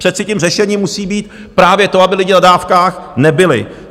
Přece tím řešením musí být právě to, aby lidi na dávkách nebyli.